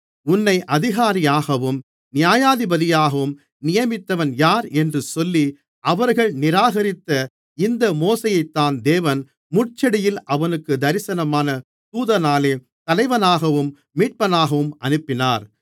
உன்னை அதிகாரியாகவும் நியாயாதிபதியாகவும் நியமித்தவன் யார் என்று சொல்லி அவர்கள் நிராகரித்த இந்த மோசேயைத்தான் தேவன் முட்செடியில் அவனுக்குத் தரிசனமான தூதனாலே தலைவனாகவும் மீட்பனாகவும் அனுப்பினார்